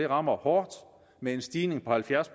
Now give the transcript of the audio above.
rammer hårdt med en stigning på halvfjerds